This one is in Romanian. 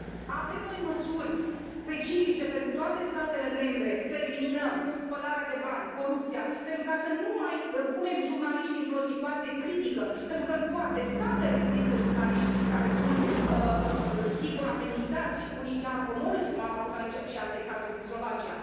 Avem noi măsuri specifice pentru toate statele membre să eliminăm spălarea de bani, corupția, pentru ca să nu mai punem jurnaliștii într o situație critică pentru că în toate statele există jurnaliști care sunt sigur amenințați, unii chiar omorâți, cum am avut aici și alte cazuri din Slovacia?